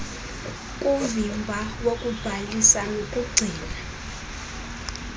kuvimba wokubhalisa nokugcina